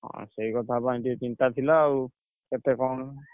ହଁ, ସେଇ କଥା ପାଇଁ ଟିକେ ଚିନ୍ତା ଥିଲା ଆଉ, କେତେ କଣ।